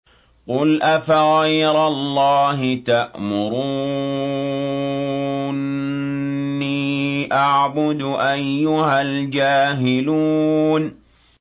قُلْ أَفَغَيْرَ اللَّهِ تَأْمُرُونِّي أَعْبُدُ أَيُّهَا الْجَاهِلُونَ